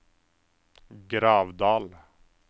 Gravdal